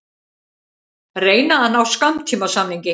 Reyna að ná skammtímasamningi